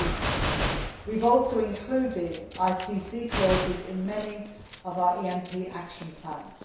15. We have also included ICC clauses in many of our ENP action plans.